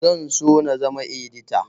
Zan so na zama edita